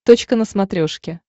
точка на смотрешке